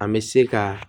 An bɛ se ka